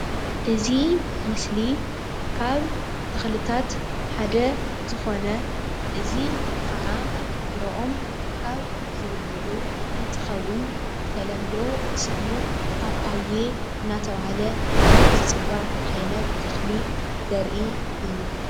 እዚ ምስሊ ካብ ተክልታት ሓደ ዝኮነ እዚ ከዓ ፍሮኦም ካብ ዝቡሉዕ እንትከውን ብተለምዶ ስሙ ፓፓየ ናይ እናተባህለ ናይ ዝፅዋዕ ዓይነት ተክሊ ዘርኢ እዩ፡፡